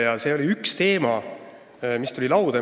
Nii et see oli üks teema, mis tuli lauda.